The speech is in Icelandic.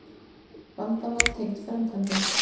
Vandamál tengd framkvæmdum